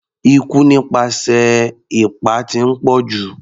Ikú nípasẹ̀ ipá ti ń pọ̀jù.